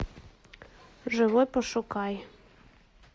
живой пошукай